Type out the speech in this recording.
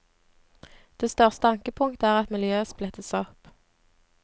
Det største ankepunktet er at miljøet splittes opp.